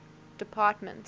department